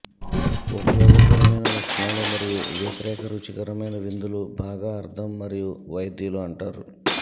ఉపయోగకరమైన లక్షణాలు మరియు వ్యతిరేక రుచికరమైన విందులు బాగా అర్థం మరియు వైద్యులు అంటారు